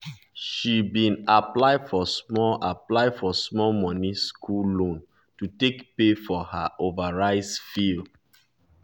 she bee aply for small aply for small money school loan to take pay for her over rise fees